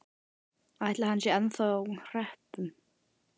Ætli hann sé ennþá á hreppnum?